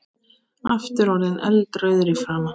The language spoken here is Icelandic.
Aftur orðinn eldrauður í framan.